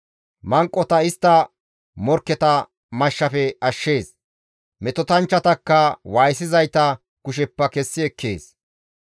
Manqota istta morkketa mashshafe ashshees; metotanchchatakka waayisizayta kusheppe kessi ekkees.